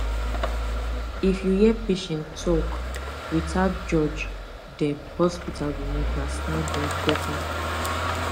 if you hear patient talk without judge dem hospital go understand dem better